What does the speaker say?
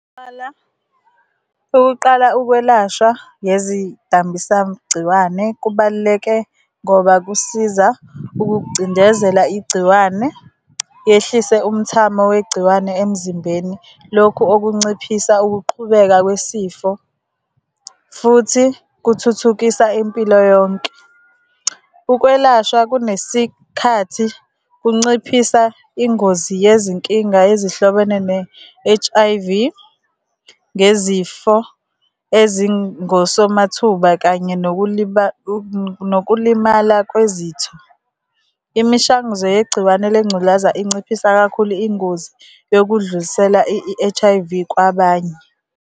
Qala, ukuqala ukwelashwa ngezidambisagciwane kubaluleke ngoba kusiza ukucindezela igciwane, yehlise umthamo wegciwane emzimbeni. Lokhu okunciphisa ukuqhubeka kwesifo, futhi kuthuthukisa impilo yonke. Ukwelashwa kunesikhathi, kunciphisa ingozi yezinkinga ezihlobene ne-H_I_V ngezifo ezingosomathuba kanye nokulimala kwezitho. Imishanguzo yegciwane lengculaza inciphisa kakhulu ingozi yokudlulisela i-H_I_V kwabanye.